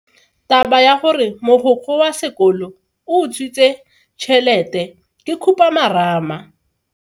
Taba ya gore mogokgo wa sekolo o utswitse tšhelete ke khupamarama.